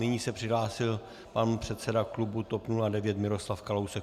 Nyní se přihlásil pan předseda klubu TOP 09 Miroslav Kalousek.